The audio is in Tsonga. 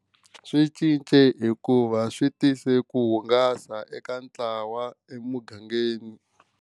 Swi cince hikuva swi tise ku hungasa eka ntlawa emugangeni.